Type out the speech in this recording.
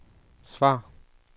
svar